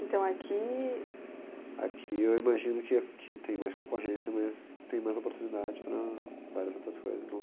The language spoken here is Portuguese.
Então aqui... Aqui eu imagino que aqui tem mais concorrência, mas tem mais oportunidade para várias outras coisas.